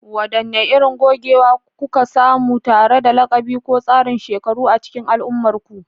Wadanne irin gogewa kuka samu tare da lakabi ko tsarin shekaru a cikin al'ummarku?